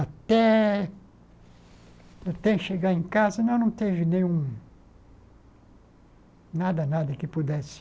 Até até chegar em casa, não não teve nenhum, nada, nada que pudesse